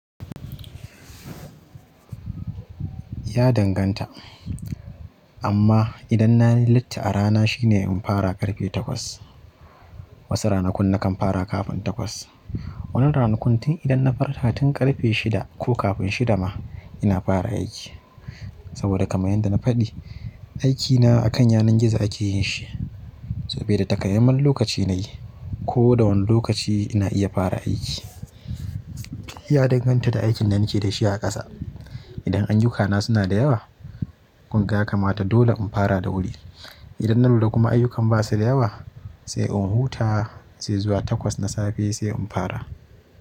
Ya danganta. Amma idan na yi latti a rana shine in fara ƙarfe takwas. Wasu ranakun na kan fara kafin takwas. Wani ranakun tin idan na farka tun ƙarfe shida ko kafin shida ma ina fara aiki. Saboda kamar yadda na faɗi, aikina a kan yanar gizo ake yin shi. Saboda takamaiman lokaci na yi ko da wani lokaci ina iya fara aiki. Ya danganta da aikin da nake da shi a ƙasa. Idan ayyukana suna da yawa, kunga kamata dole in fara da wuri. Idan na lura kuma ayyukan ba su da yawa sai in huta, sai zuwa takwas na safe sai in fara.